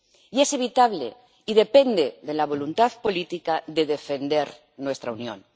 Y es evitable y depende de la voluntad política de defender nuestra Unión.